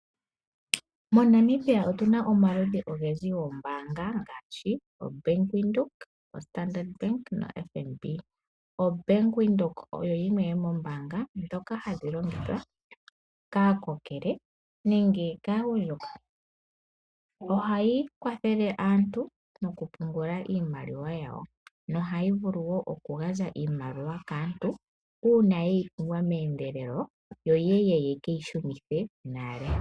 MoNamibia otuna omaludhi ogendji goombaanga ngaashi oBank windhoek, oStandard bank noFNB. OBank windhoek oyo yimwe yo moombaanga dhoka hadhi longithwa kaakokele nenge kaagundjuka. Ohayi kwathele aantu oku pungula iimaliwa yawo nohayi vulu wo oku gandja iimaliwa kaantu uuna yeyi pumbwa meeyendelelo yo yeye yekeyi shunithe nale.